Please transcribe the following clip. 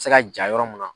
Se ka ja yɔrɔ mun na